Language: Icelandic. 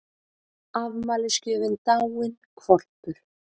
Afmælisgjöfin dáinn hvolpur